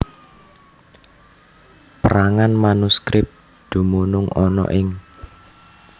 Pérangan manuskrip dumunung ana ing